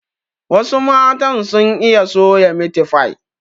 Wasu matan sun iya soya Miti fai